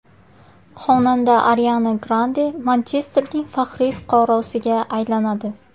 Xonanda Ariana Grande Manchesterning faxriy fuqarosiga aylanadi.